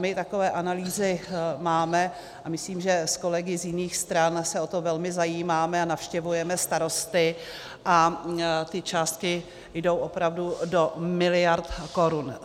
My takové analýzy máme a myslím, že s kolegy z jiných stran se o to velmi zajímáme a navštěvujeme starosty a ty částky jdou opravdu do miliard korun.